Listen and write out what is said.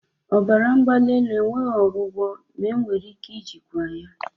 Ọbara mgbali elu enweghị ọgwụgwọ ma enwere ike ijikwa ya